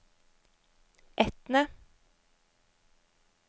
Etne